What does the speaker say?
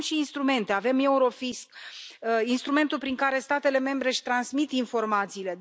Avem și instrumente, avem Eurofisc, instrumentul prin care statele membre își transmit informațiile.